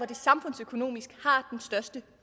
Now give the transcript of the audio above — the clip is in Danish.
det samfundsøkonomisk